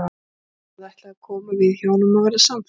Tóti hafði ætlað að koma við hjá honum og verða samferða.